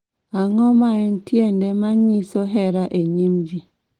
Ang�o ma en tiende ma nyiso hera e nyim ji?